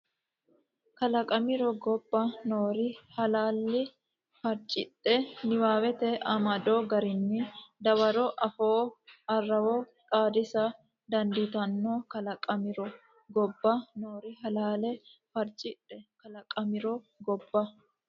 kalaqamiro gobba noori halaale farcidhe niwaawete amado garinni dawaro afoo arrawo xaadisa dandiitanno kalaqamiro gobba noori halaale farcidhe kalaqamiro gobba.